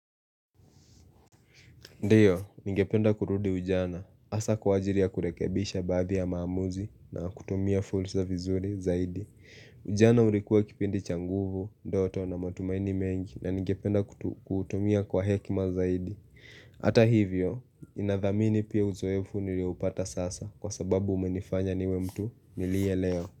Ndiyo, ningependa kurudi ujana, hasa kwa ajili ya kurekebisha baadhi ya maamuzi na kutumia fursa vizuri zaidi. Ujana ulikuwa kipindi cha nguvu, ndoto na matumaini mengi na ningependa kutumia kwa hekima zaidi. Hata hivyo, ninathamini pia uzoefu niliopata sasa kwa sababu umenifanya niwe mtu niliye leo.